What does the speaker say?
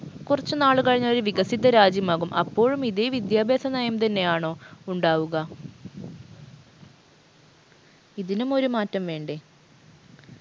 കുറച്ചു നാൾ കഴിഞ്ഞാൽ ഒരു വികസിത രാജ്യമാകും അപ്പോഴും ഇതേ വിദ്യാഭ്യാസം നയം തന്നെയാണോ ഉണ്ടാവുക ഇതിനും ഒരു മാറ്റം വേണ്ടേ